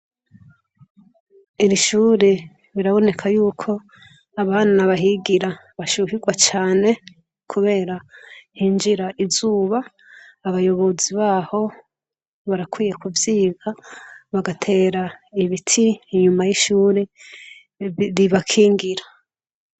Iri shure biraboneka yuko abana bahigira bashuhigwa cane kubera hinjira izuba. Abayobozi baho barakwiye kuvyiga, bagatera ibiti inyuma y'ishure, bibakingira.